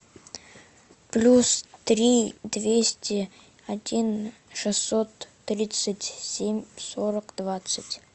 плюс три двести один шестьсот тридцать семь сорок двадцать